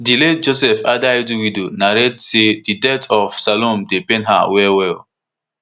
di late joseph adaidu widow narrate say di death of salome dey pain her wellwell